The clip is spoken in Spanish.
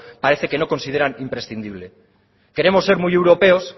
parece que no consideran imprescindible queremos ser muy europeos